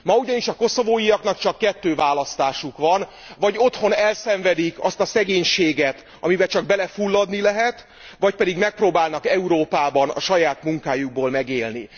Ma ugyanis a koszovóiaknak csak kettő választásuk van vagy otthon elszenvedik azt a szegénységet, amibe csak belefulladni lehet, vagy pedig megpróbálnak Európában a saját munkájukból megélni.